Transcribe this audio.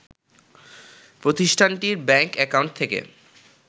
প্রতিষ্ঠানটির bank account থেকে